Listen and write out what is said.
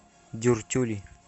дюртюли